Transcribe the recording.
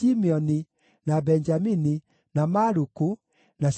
na Benjamini, na Maluku, na Shemaria.